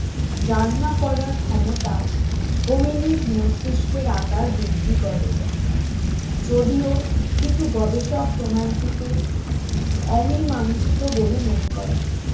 রান্না করার ক্ষমতা হোমি নিক মস্তিষ্কের আকার বৃদ্ধি করে যদিও কিছু গবেষক প্রমাণটিকে অমীমাংসিত বলে মনে করেন